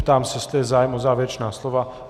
Ptám se, jestli je zájem o závěrečná slova.